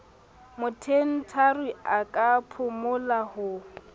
mothendari a ka phumola ho